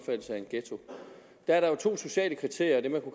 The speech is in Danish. der der er to sociale kriterier og